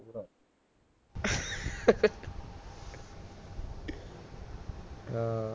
ਹਾਂ